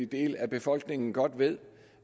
del af befolkningen godt ved